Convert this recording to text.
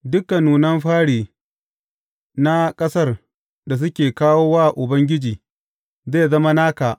Dukan nunan fari na ƙasar da suke kawo wa Ubangiji, zai zama naka.